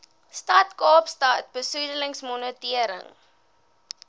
stad kaapstad besoedelingsmonitering